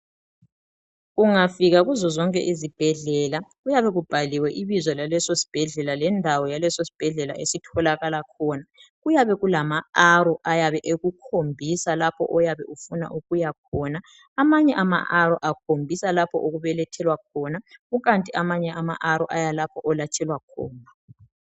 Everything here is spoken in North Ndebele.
Ungafika ezibhedlela , kuyabe kubhaliwe ibizo laleso sibhedlela lendawo yalesosibhedlela esitholakala khona , kuyabe kulama arrow ayabe ekukhombisa lapho oyabe ufuna ukuyakhona , amanye amaarrow akhombisa lapho okubelethelwa khona kukanti ke amanye ama arrow ayalapho olatshelwa khona